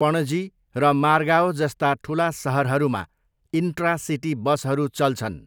पणजी र मार्गाओ जस्ता ठुला सहरहरूमा इन्ट्रा सिटी बसहरू चल्छन्।